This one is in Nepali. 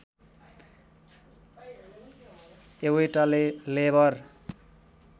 एवैटले लेबर